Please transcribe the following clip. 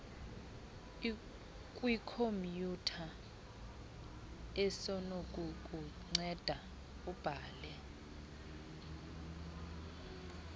kwikhomyutha esinokukunceda ubale